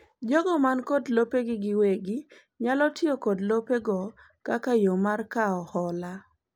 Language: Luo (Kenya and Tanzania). jogo man kod lopegi giwegi nyalo tiyo kod lopego kaka yoo mar kao hola